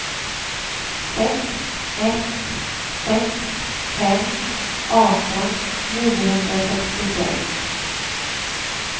sex ett sex fem arton niohundrasextiosex